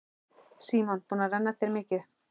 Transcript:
Símon: Búin að renna þér mikið?